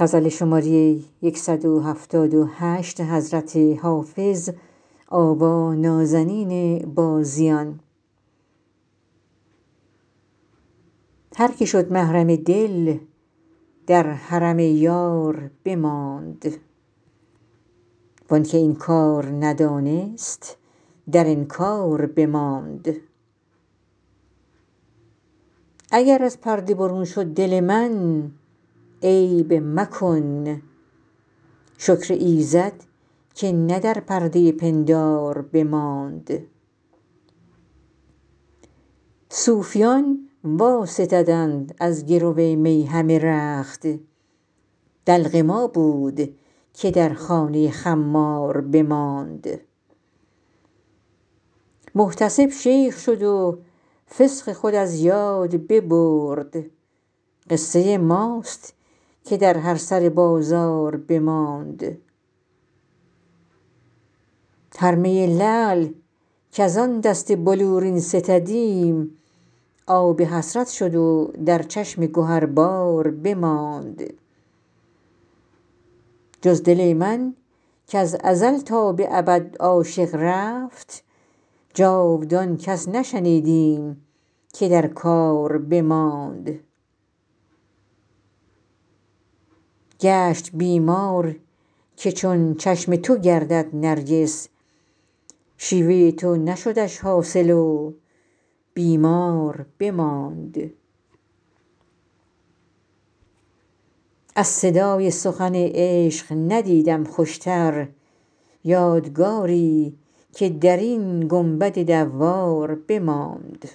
هر که شد محرم دل در حرم یار بماند وان که این کار ندانست در انکار بماند اگر از پرده برون شد دل من عیب مکن شکر ایزد که نه در پرده پندار بماند صوفیان واستدند از گرو می همه رخت دلق ما بود که در خانه خمار بماند محتسب شیخ شد و فسق خود از یاد ببرد قصه ماست که در هر سر بازار بماند هر می لعل کز آن دست بلورین ستدیم آب حسرت شد و در چشم گهربار بماند جز دل من کز ازل تا به ابد عاشق رفت جاودان کس نشنیدیم که در کار بماند گشت بیمار که چون چشم تو گردد نرگس شیوه تو نشدش حاصل و بیمار بماند از صدای سخن عشق ندیدم خوشتر یادگاری که در این گنبد دوار بماند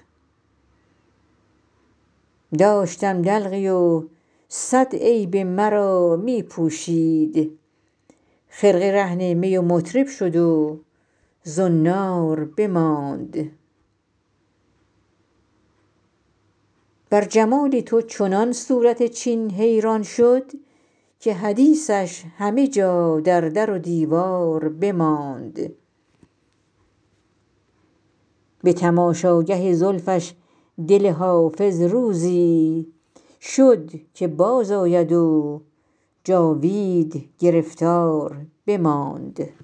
داشتم دلقی و صد عیب مرا می پوشید خرقه رهن می و مطرب شد و زنار بماند بر جمال تو چنان صورت چین حیران شد که حدیثش همه جا در در و دیوار بماند به تماشاگه زلفش دل حافظ روزی شد که بازآید و جاوید گرفتار بماند